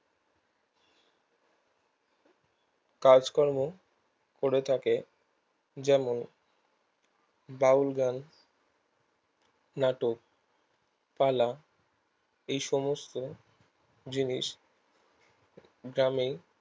কাজকর্ম করে থাকে যেমন বাউল গান নাটক পালা এই সমস্ত জিনিস গ্রামে